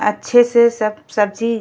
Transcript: अच्छे से सब सब्जी --